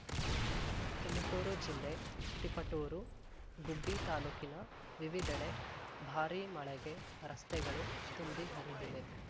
ತುಮಕೂರು ಜಿಲ್ಲೆ ತಿಪಟೂರು ಗುಬ್ಬಿ ತಾಲೂಕಿನ ವಿವಿಧೆಡೆ ಭಾರೀ ಮಳೆಗೆ ರಸ್ತೆಗಳು ತುಂಬಿ ಹರಿದಿವೆ